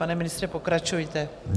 Pane ministře, pokračujte.